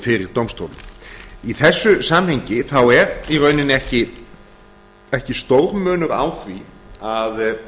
fyrir dómstólum í þessu samhengi þá er í rauninni ekki stór munur á því að